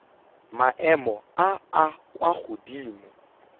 maemo a a kwa godimo